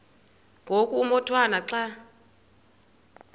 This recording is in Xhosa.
ngoku umotwana xa